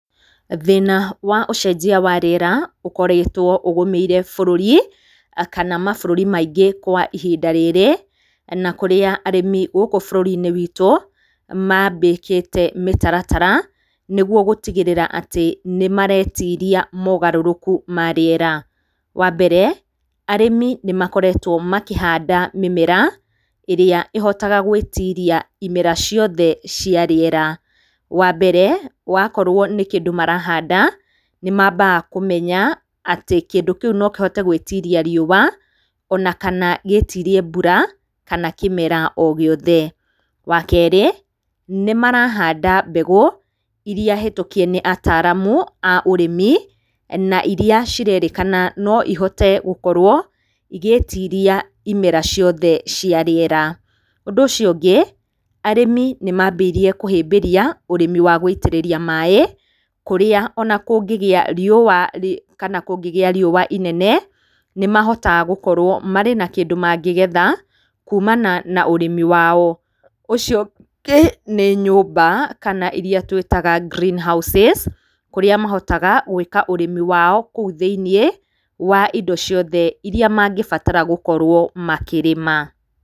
Thĩna wa ũcenjia wa rĩera ũkoretwo ũgũmĩire bũrũri, kana mabũrũri maingĩ kwa ihinda rĩrĩ, na kũrĩa arĩmi gũkũ bũrũri-inĩ witũ, mambĩkĩte mĩtaratara nĩ guo gũtigĩrĩra atĩ nĩ maretiria mogarũrũku ma rĩera. Wa mbere, arĩmi nĩ makorwtwo makĩhanda mĩmere ĩrĩa ĩhotaga gũĩtiria imera ciothe cia rĩera, wa mbere, wakorwo nĩ kĩndu marahanda, nĩ mambaga kũmenya atĩ kĩndũ kĩu no kĩhote gũĩtiria riũa ona kana gĩtirie mbura, kana kĩmera o gĩothe. Wa kerĩ, nĩ marahanda mbegũ iria hetũkie nĩ ataaramu a ũrĩmi na iria cirerĩkana no ihote gũkorwo igĩtiria imera ciothe cia rĩera. Ũndũ ũcio ũngĩ, arĩmi nĩ mambĩirie kũhĩmbĩria ũrĩmi wa gũitĩrĩria maaĩ, kũrĩa ona kũngĩgĩa riũa kana kũngĩgia riũa inene, nĩ mahotaga gũkorwo marĩ na kĩndũ mangĩgetha kuumana na ũrĩmi wao. Ũcio ũngĩ nĩ nyũmba kana iria twĩtaga green houses kũrĩa mahotaga gũĩka ũrĩmi wao kũu thĩiniĩ wa indo ciothe iria mangĩbatara gũkorwo makĩrĩma.